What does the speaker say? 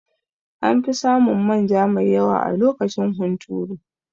Anfi samun manja mai yawa a lokacin hunturu